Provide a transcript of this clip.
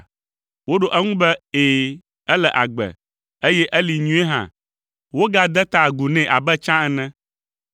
Woɖo eŋu be, “Ɛ̃, ele agbe, eye eli nyuie hã.” Wogade ta agu nɛ abe tsã ene.